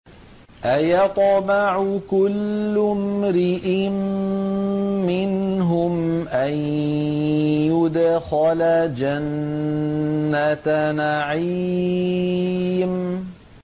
أَيَطْمَعُ كُلُّ امْرِئٍ مِّنْهُمْ أَن يُدْخَلَ جَنَّةَ نَعِيمٍ